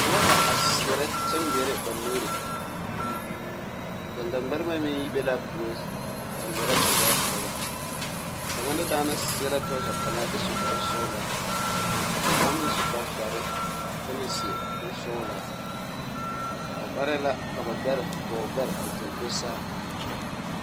Noba la a seɛrɛ kyɛ ŋmeɛrɛ ba nuuri ɡaŋɡaŋmɛrebɛ meŋ yi be la a puoriŋ a ŋmeɛrɛ a ɡaŋɡaa koro ba kaŋa na daana seɛ la trɔza pelaa kyɛ su koarsɔɔlaa ka kaŋ meŋ su kpardɔre kyɛ meŋ seɛ kursɔɡelaa ba varɛɛ la ka ba ɡɔɔ ɡbɛre a do saa.